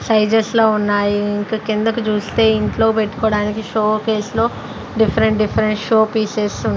Sizes లో ఉన్నాయి. ఇంక కిందకి చూస్తే ఇంట్లో పెట్టుకోడానికి షో కేస్ లో డిఫరెంట్ డిఫరెంట్ షో పీసెస్ వున్ --